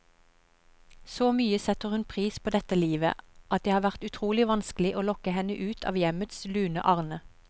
Så mye setter hun pris på dette livet, at det har vært utrolig vanskelig å lokke henne ut av hjemmets lune arne.